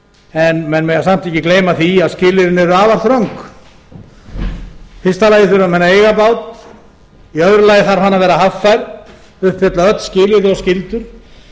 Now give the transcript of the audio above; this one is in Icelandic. en menn mega samt ekki gleyma því að skilyrðin eru afar þröng í fyrsta lagi þurfa menn að eiga bát í öðru lagi þarf hann að vera haffær uppfylla öll skilyrði og skyldur